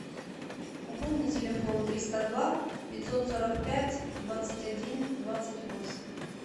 пополни телефон триста два пятьсот сорок пять двадцать один двадцать восемь